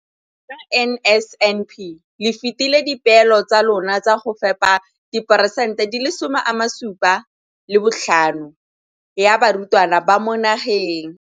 Ka NSNP le fetile dipeelo tsa lona tsa go fepa masome a supa le botlhano a diperesente ya barutwana ba mo nageng.